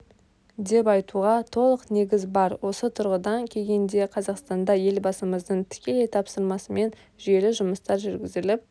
деп айтуға толық негіз бар осы тұрғыдан келгенде қазақстанда елбасымыздың тікелей тапсырмасымен жүйелі жұмыстар жүргізіліп